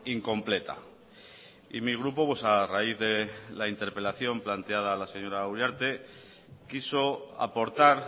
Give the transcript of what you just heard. incompleta y mi grupo a raíz de la interpelación planteada a la señora uriarte quiso aportar